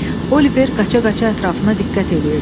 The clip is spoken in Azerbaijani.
Oliver qaça-qaça ətrafına diqqət eləyirdi.